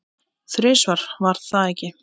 Þrisvar, var það ekki?